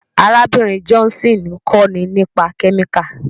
Arábìnrin Johnson ń kọ́ni nípa kẹ́míkà.